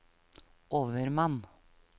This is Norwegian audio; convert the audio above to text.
overmann